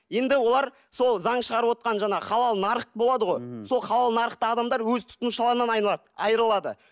енді олар сол заң шығарып жаңағы халал нарық болады ғой сол халал нарықта адамдар өз тұтынушыларынан айрылады